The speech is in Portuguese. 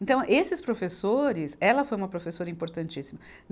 Então, esses professores, ela foi uma professora importantíssima.